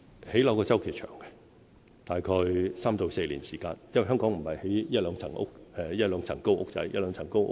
興建房屋的周期長，大概3至4年時間，因為我們不是興建一兩層高的小屋。